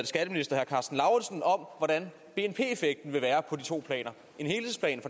skatteminister karsten lauritzen om hvordan bnp effekten vil være af de to planer helhedsplan